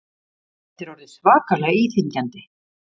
Þetta er orðið svakalega íþyngjandi